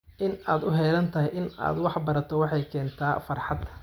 In aad u heelan tahay in aad wax barato waxa ay keentaa farxad.